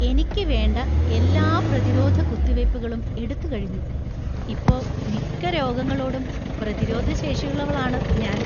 എനിക്ക് വേണ്ട എല്ലാ പ്രതിരോധ കുത്തിവയ്പ്പുകളും എടുത്തുകഴിഞ്ഞു. ഇപ്പോ മിക്ക രോഗങ്ങളോടും പ്രതിരോധശേഷിയുള്ളവളാണ് ഞാൻ.